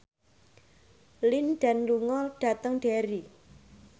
Lin Dan lunga dhateng Derry